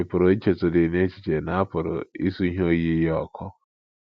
Ị̀ pụrụ ichetụdị n’echiche na a pụrụ isu ihe oyiyi ya ọkụ?